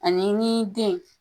Ani ni den